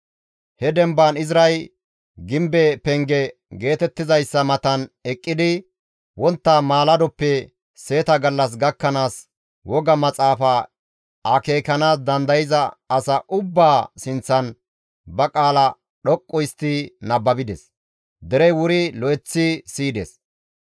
He demban Izray gimbe penge geetettizayssa matan eqqidi wontta maaladoppe seeta gallas gakkanaas woga maxaafa akeekanaas dandayza asa ubbaa sinththan ba qaala dhoqqu histti nababides; derey wuri lo7eththi siyides.